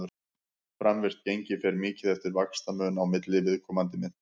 framvirkt gengi fer mikið eftir vaxtamun á milli viðkomandi mynta